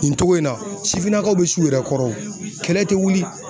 Nin togo in na sifinnakaw bɛ s'u yɛrɛ kɔrɔ o kɛlɛ tɛ wuli